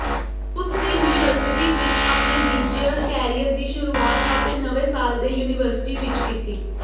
ਉਸਨੇ ਯੂਨੀਵਰਸਿਟੀ ਵਿਚ ਆਪਣੇ ਡੀਜੇਅਰ ਕੈਰੀਅਰ ਦੀ ਸ਼ੁਰੂਆਤ ਆਪਣੇ ਨਵੇਂ ਸਾਲ ਦੇ ਯੂਨੀਵਰਸਿਟੀ ਵਿਚ ਕੀਤੀ